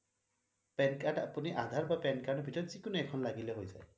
Pan card আপুনি আধাৰ বা pan card ভিতৰত যিকোনো এখন লাগিলে হৈ যাব